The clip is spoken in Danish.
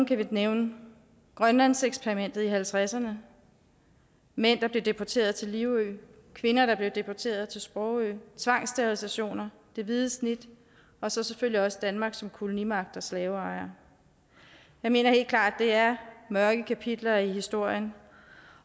kan nævne grønlandseksperimentet i nitten halvtredserne mænd der blev deporteret til livø kvinder der blev deporteret til sprogø tvangsterilisationer det hvide snit og selvfølgelig også danmark som kolonimagt og slaveejer jeg mener helt klart det er mørke kapitler i historien